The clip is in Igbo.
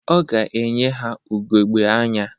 Ọ ga-enye ha ugogbe anya.